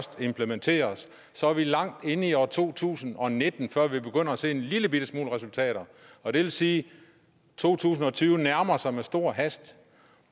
det implementeres så er vi langt inde i år to tusind og nitten før vi begynder at se en lillebitte smule resultater og det vil sige at to tusind og tyve nærmer sig med stor hast